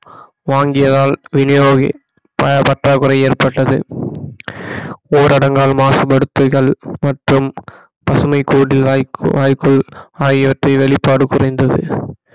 வாங்கியதால் வினியோகி பண பற்றாக்குறை ஏற்பட்டது ஊரடங்கால் மாசுபடுத்துதல் மற்றும் பசுமை வாய்ப்பு ஆகியவற்றை வெளிப்பாடு குறைந்தது